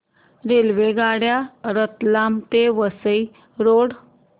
रेल्वेगाड्या रतलाम ते वसई रोड